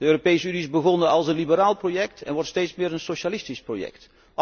De Europese Unie is begonnen als een liberaal project en wordt steeds meer een socialistisch project.